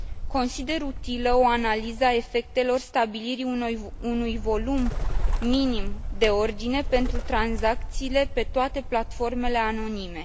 Consider utilă o analiză a efectelor stabilirii unui volum minim de ordine pentru tranzacțiile pe toate platformele anonime.